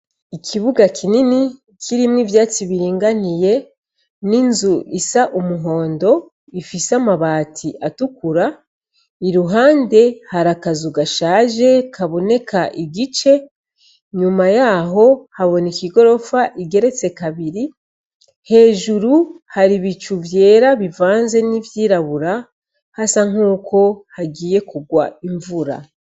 Ikibuga kinini kirimwo ivyatsi biringaniye n' inzu isa umuhondo ifise amabati atukura, iruhande hari akazu gashaje kaboneka igice ,inyuma yaho habineka igorofa igeretse kabiri hejuru hari ibicu vyera n' ivyirabura hasa nkaho hagiye kurwa imvura.